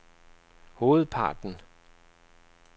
hovedparten